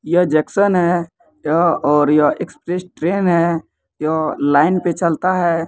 यह जंक्शन है यह और यह एक्सप्रेस ट्रेन है यह लाइन पे चलता है।